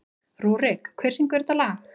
Rúrik, hver syngur þetta lag?